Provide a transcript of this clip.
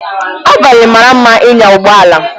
Abalị mara mma ịnya ụgbọ ala